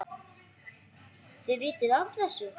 Þið vitið af þessu?